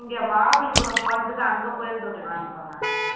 இங்க மகாபலிபுரம் போனதுக்கு அங்க போயிருந்துருக்கலாம்ன்ற நானு